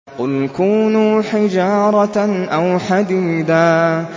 ۞ قُلْ كُونُوا حِجَارَةً أَوْ حَدِيدًا